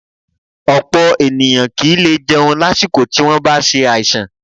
Ọ̀pọ̀ ènìyàn kì í lè jẹun lásìkò tí wọ́n bá ṣe àìsàn